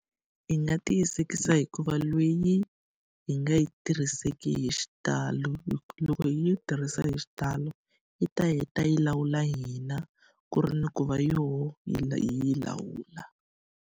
Hi nga tiyisekisa hi ku va leyi hi nga yi tirhiseki hi xitalo. loko hi yi tirhisa hi xitalo, yi ta heta yi ta yi lawula hina ku ri ni ku va yona hi hi yi lawula.